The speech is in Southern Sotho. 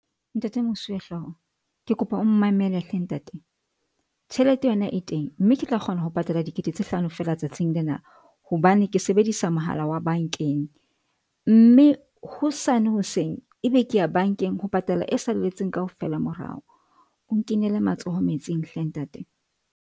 Ntate Mosuwehlooho ke kopa o mmamele hle ntate. Tjhelete yona e teng, mme ke tla kgona ho patala dikete tse hlano fela tsatsing lena, hobane ke sebedisa mohala wa bank-eng mme hosane hoseng, ebe ke ya bank-eng ho patala e salletseng kaofela morao. O nkinele matsoho metsing hle ntate.